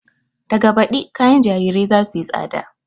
Daga baɗi kayan jarirai za suyi tsada